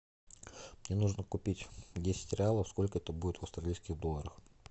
мне нужно купить десять реалов сколько это будет в австралийских долларах